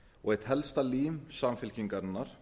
og eitt helsta lím samfylkingarinnar